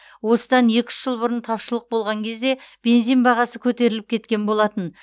осыдан екі үш жыл бұрын тапшылық болған кезде бензин бағасы көтеріліп кеткен болатын